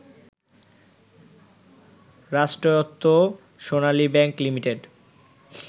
রাষ্ট্রায়ত্ত সোনালী ব্যাংক লিমিটেডে